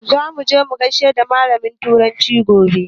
Za muje mu gaida malamin turanci gobe